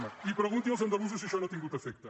ma i pregunti als andalusos si això no ha tingut efecte